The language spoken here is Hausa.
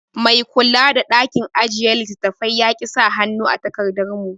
Mai kula da ɗakin ajiye littattafai yaki saka hannu a takardar mu